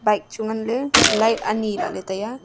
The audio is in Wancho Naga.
bike chu ngan ley light ani lah ley tai a.